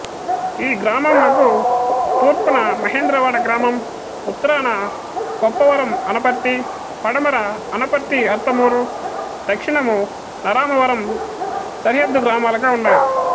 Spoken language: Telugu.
ఈ గ్రామంనకు తూర్ఫున మహేంద్రవాడ గ్రామం ఉత్తరాన కొప్పవరం అనపర్తి పడమర అనపర్తి అర్తమూరుదక్క్షిణమునరామవరం సరిహద్దు గ్రామాలుగాఉన్నవి